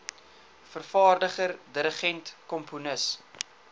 vervaardiger dirigent komponis